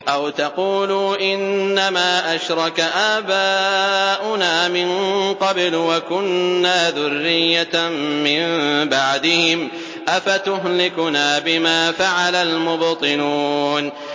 أَوْ تَقُولُوا إِنَّمَا أَشْرَكَ آبَاؤُنَا مِن قَبْلُ وَكُنَّا ذُرِّيَّةً مِّن بَعْدِهِمْ ۖ أَفَتُهْلِكُنَا بِمَا فَعَلَ الْمُبْطِلُونَ